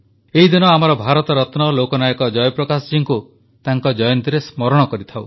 ଏହି ଦିନ ଆମର ଭାରତରତ୍ନ ଲୋକନାୟକ ଜୟପ୍ରକାଶ ଜୀଙ୍କୁ ତାଙ୍କ ଜୟନ୍ତୀରେ ସ୍ମରଣ କରିଥାଉ